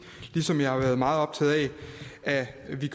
ligesom jeg har været meget optaget af at vi